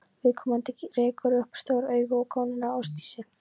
Viðkomandi rekur upp stór augu og gónir á Ásdísi.